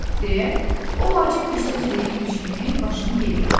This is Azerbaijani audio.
Deyə, o vacib bir söz deyibmiş kimi başını geriyə atdı.